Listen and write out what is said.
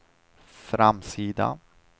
framsida